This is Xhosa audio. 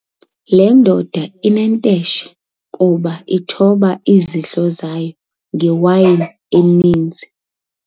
Le ndoda inenteshe kuba ithoba izidlo zayo ngewayini eninzi.